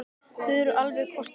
Þau eru alveg kostuleg.